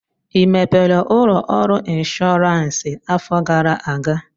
ị mepere ụlọ ọrụ ịnshọọransị afọ gara aga?